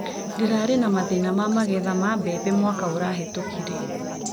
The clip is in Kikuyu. Ndĩrarĩ na mathĩna ma magetha ma mbembe mwaka ũrahetũkire.